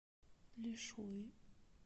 лишуй